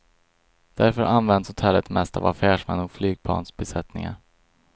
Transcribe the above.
Därför används hotellet mest av affärsmän och flygplansbesättningar.